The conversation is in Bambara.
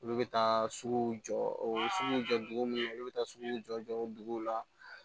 Olu bɛ taa sugu jɔ o sugu jɔ dugu kɔnɔ olu bɛ taa suguw jɔ jɔ duguw la